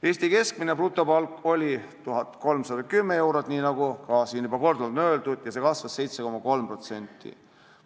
Eesti keskmine brutopalk oli 1310 eurot, nagu siin juba korduvalt on öeldud, ja see kasvas 7,3%.